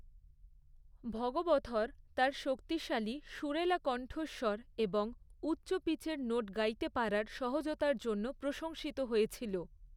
ভগবথর তার শক্তিশালী, সুরেলা কন্ঠস্বর এবং উচ্চ পিচের নোট গাইতে পারার সহজতার জন্য প্রশংসিত হয়েছিল।